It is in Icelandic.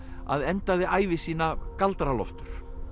að endaði ævi sína galdra Loftur